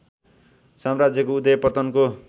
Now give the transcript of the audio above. साम्राज्यको उदय पतनको